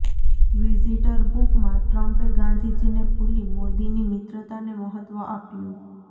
visitor બુકમાં ટ્રમ્પે ગાંધીજીને ભૂલી મોદીની મિત્રતાને મહત્ત્વ આપ્યું